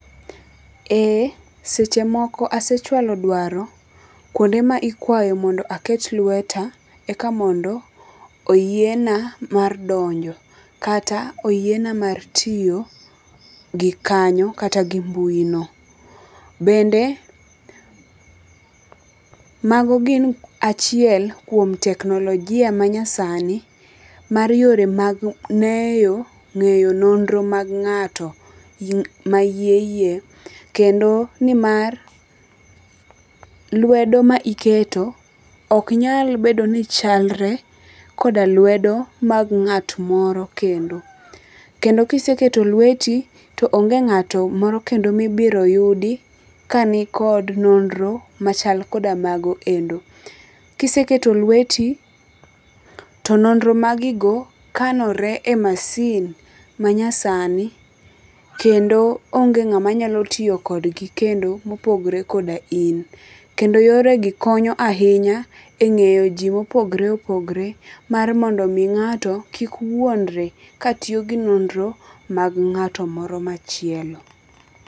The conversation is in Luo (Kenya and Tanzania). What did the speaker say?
Ee Seche moko asechwalo dwaro kuonde ma ikwayo mondo aket lweta eka mondo oyie na mar donjo kata oyiena mar tiyo gi kanyo kata gi mbui no. Bende mago gin achiel kuom teknologia manyasani mar yore mag ng'eyo nonro mag ng'ato ma hie hie kendo ni mar lwedo ma iketo ok nyal bedo ni chalre koda lwedo mag ng'at moro kendo. Kendo kiseketo lweti to onge ng'ato moro kendo mibiro yudi ka nikod nonro machal koda mago endo. Kiseketo lweti to nonro magigo kanore e masin manyasani. Kendo onge ng'ama nyalo tiyo kodgi kendo mopogre koda in. Kendo yore gi konyo ahinya e ng'eyo ji mopogre opogre mar mondo mi ng'ato kik wuondre ka tiyo gi nonro mag ng'ato moro machielo.